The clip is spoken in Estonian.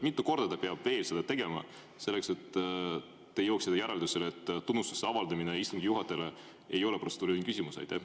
Mitu korda ta peab veel seda tegema, et te jõuaksite järeldusele, et tunnustuse avaldamine istungi juhatajale ei ole protseduuriline küsimus?